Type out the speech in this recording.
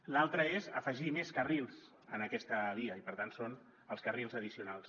l’altra és afegir més carrils a aquesta via i per tant són els carrils addicionals